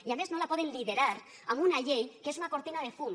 i a més no la poden liderar amb una llei que és una cortina de fum